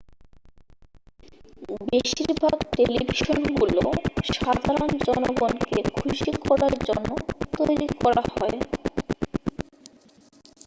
বেশিরভাগ টেলিভিশনগুলো সাধারণ জনগণকে খুশি করার জন্য তৈরি করা হয়